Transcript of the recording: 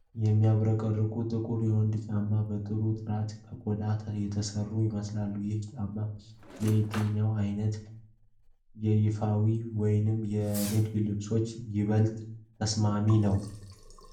የሚያብረቀርቅ ጥቁር የወንዶች ጫማ በጥሩ ጥራት ከቆዳ የተሠራ ይመስላል። ይህ ጫማ ለየትኛው ዓይነት የይፋዊ ወይም የንግድ ልብሶች ይበልጥ ተስማሚ ነው?